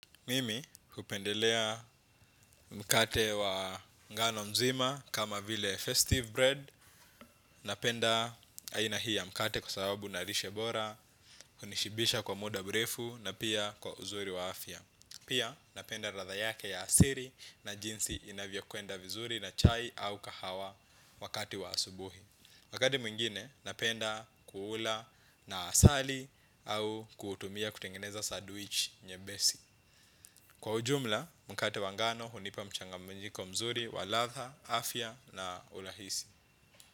Mimi hupendelea mkate wa ngano mzima kama vile festive bread. Napenda aina hii ya mkate kwa sababu ina lishe bora hunishibisha kwa muda mrefu na pia kwa uzuri wa afya. Pia napenda ladha yake ya asiri na jinsi inavyokwenda vizuri na chai au kahawa wakati wa asubuhi. Wakati mwingine napenda kuula na asali au kutumia kutengeneza sandwich nyepesi. Kwa ujumla, mkate wa ngano, hunipa mchanganyiko mzuri, wa ladha, afya na ulahisi.